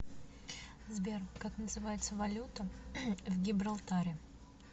сбер как называется валюта в гибралтаре